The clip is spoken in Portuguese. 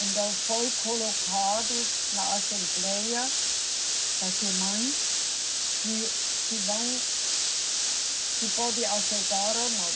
Então foi colocado na assembleia das irmãs se, se vão, se pode aceitar ou não.